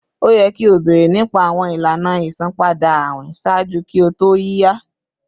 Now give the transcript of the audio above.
O yẹ ki o beere nipa awọn ilana isanpada awin ṣaaju ki o to yiya!